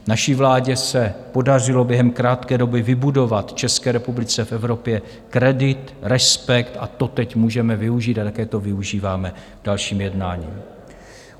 Naší vládě se podařilo během krátké doby vybudovat České republice v Evropě kredit, respekt a to teď můžeme využít a také to využíváme k dalším jednáním.